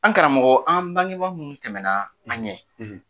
An karamɔgɔ an bangebaa minnu tɛmɛ na an ɲɛ.